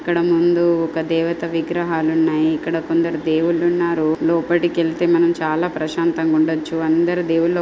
ఇక్కడ ముందు ఒక దేవత విగ్రహాలున్నాయి. ఇక్కడ కొందరు దేవుళ్ళున్నారు. లోపటికెళ్తే మనం చాలా ప్రశాంతంగుండచ్చు. అందరు దేవుళ్ళు --